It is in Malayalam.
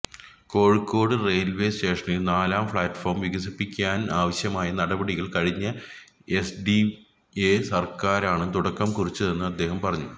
കോഴിക്കോട് റെയില്വേ സ്റ്റേഷനില് നാലാം പ്ലാറ്റ് ഫോം വികസിപ്പിക്കാനാവശ്യമായ നടപടികള് കഴിഞ്ഞ എന്ഡിഎ സര്ക്കാറാണ് തുടക്കം കുറിച്ചതെന്ന് അദ്ദേഹം പറഞ്ഞു